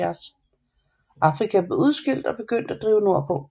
Afrika blev udskilt og begyndte at drive nordpå